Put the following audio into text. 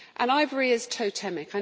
Ivory is totemic.